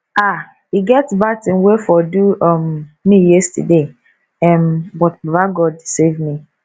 um e get bad thing wey for do um me yesterday um but baba god save me